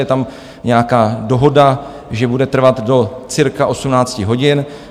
Je tam nějaká dohoda, že bude trvat do cirka 18 hodin.